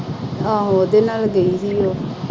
ਆਹੋ ਉਹਦੇ ਨਾਲ ਗਈ ਸੀ ਉਹ।